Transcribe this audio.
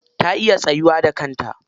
Ta iya tsayuwa da kanta.